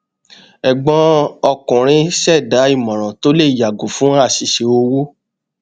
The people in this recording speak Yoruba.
ẹgbọn ọkùnrin ṣẹdá ìmòràn tó lè yàgò fún àṣìṣe owó